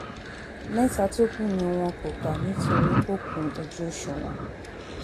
mẹ́ta tó kù ni wọn wọn kò kà nítorí kò kún ojú òṣùwọ̀n